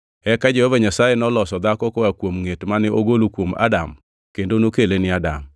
Eka Jehova Nyasaye noloso dhako koa kuom ngʼet mane ogolo kuom Adam kendo nokele ni Adam.